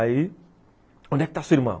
Aí, onde é que está sua irmã?